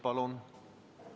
Palun!